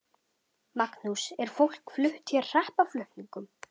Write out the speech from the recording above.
Magnús: Er fólk flutt hér hreppaflutningum?